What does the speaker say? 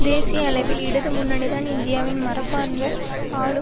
தேசிய அளவில் இடது முன்னணிதான் இந்தியாவின் மரபார்ந்த ஆளும்